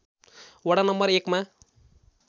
वडा नम्बर १ मा